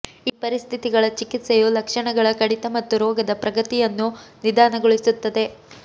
ಈ ಪರಿಸ್ಥಿತಿಗಳ ಚಿಕಿತ್ಸೆಯು ಲಕ್ಷಣಗಳ ಕಡಿತ ಮತ್ತು ರೋಗದ ಪ್ರಗತಿಯನ್ನು ನಿಧಾನಗೊಳಿಸುತ್ತದೆ